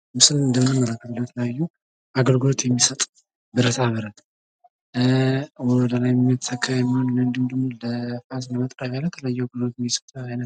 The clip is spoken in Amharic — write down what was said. ምስሉ ላይ የምንመለከተው አግልግሎት የሚሰጡ ብረታብረቶች አሉ። ለፋስ፣ ለመጥረቢያ የሚያገለግሉ ናቸው።